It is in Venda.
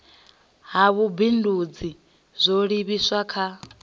ha vhubindudzi zwo livhiswa kha